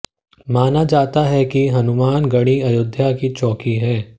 माना जाता है कि हनुमान गढ़ी अयोध्या की चौकी है